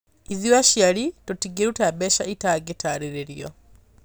"ĩthuĩ aciari tũtingĩruta mbeca itangĩtarĩrĩrio.